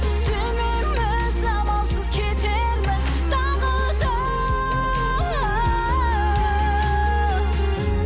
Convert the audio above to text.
сүймейміз амалсыз кетерміз тағы да